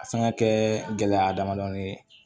A fɛn ka kɛ gɛlɛya damadɔni ye